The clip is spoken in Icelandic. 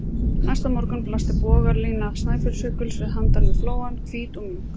Næsta morgun blasti bogalína Snæfellsjökuls við handan við flóann, hvít og mjúk.